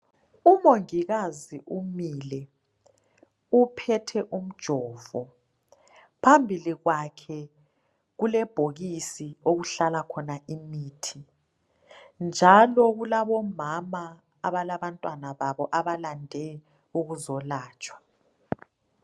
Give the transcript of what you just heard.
Umongikazi umile uphethe umjovo. Phambili kwakhe kulebhokisi okuhlala khona imithi njalo kulabomama abalabantwana babo abalande ukuzolatshwa.